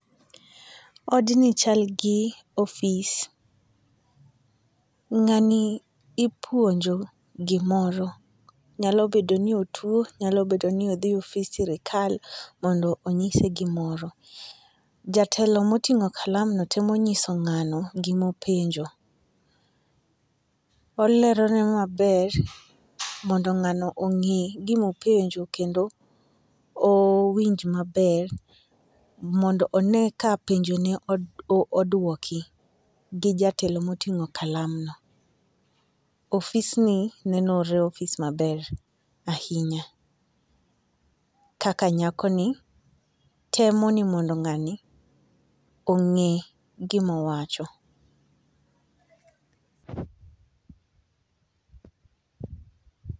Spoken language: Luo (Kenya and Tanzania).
Odni chal gi ofis. Ng'ani ipuonjo gimoro, nyalo bedo ni otuo nyalo bedo ni odhi e ofis sirikal mondo onyise gimoro. Jatelo motingo kalam no temo nyiso ngano gimo penjo olero ne maber mondo ngano ong'e gimopenjo kendo o owinj maber mondo one ka penjo ne oduoko gi jatelo moting'o kalamno. Ofis ni nenore ofis maber ahinya kaka nyako ni temo ni mondo ng'ani ong'e gimowacho